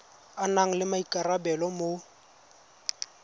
a nang le maikarabelo mo